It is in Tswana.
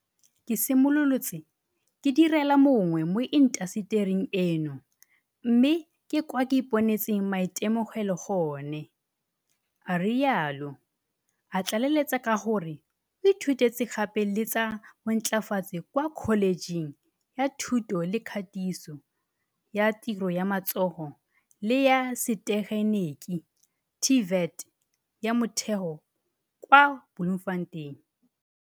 Ke simolotse ke direla mongwe mo intasetering eno mme ke kwa ke iponetseng maitemogelo gone, a rialo, a tlaleletsa ka gore o ithutetse gape le tsa bontlafatsi kwa kholetšheng ya thuto le katiso ya tiro ya matsogo le ya setegeniki TVET, ya Motheo kwa Bloemfontein.